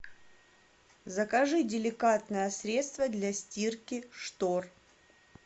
закажи деликатное средство для стирки штор